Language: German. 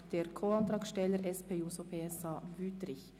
Wüthrich das Wort für die Co-Antragstellerin, die SP-JUSO-PSA-Fraktion.